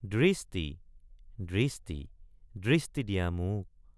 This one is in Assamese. দৃষ্টি দৃষ্টি দৃষ্টি দিয়া মোক।